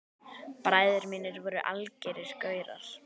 Bræður mínir voru algerir gaurar.